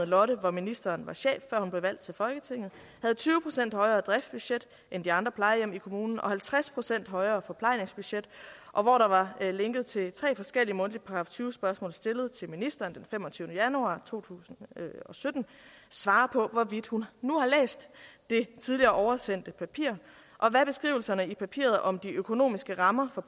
lotte hvor ministeren var chef før hun blev valgt til folketinget havde tyve procent højere driftsbudget end de andre plejehjem i kommunen og halvtreds procent højere forplejningsbudget og hvor der var linket til tre forskellige mundtlige § tyve spørgsmål stillet til ministeren den femogtyvende januar to tusind og sytten svare på hvorvidt hun nu har læst det tidligere oversendte papir og hvad beskrivelserne i papiret om de økonomiske rammer for